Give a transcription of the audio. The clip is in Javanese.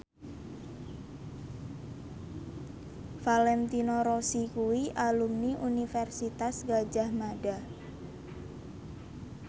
Valentino Rossi kuwi alumni Universitas Gadjah Mada